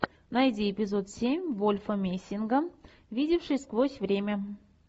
найди эпизод семь вольфа мессинга видевший сквозь время